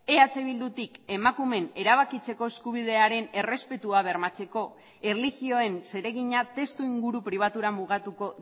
eh bildutik emakumeen erabakitzeko eskubidearen errespetua bermatzeko erlijioen zeregina testuinguru pribatura mugatuko